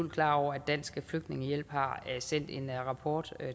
ud klar over at dansk flygtningehjælp har sendt en rapport